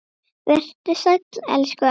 Vertu sæll, elsku afi.